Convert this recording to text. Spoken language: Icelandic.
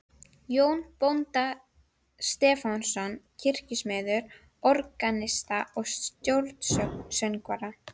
Jón bónda Stefánsson, kirkjusmið, organista og stórsöngvara.